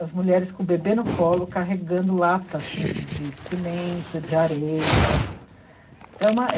As mulheres com o bebê no colo, carregando, lata, assim, de cimento, de areia.